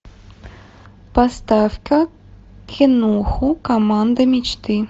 поставь ка кинуху команда мечты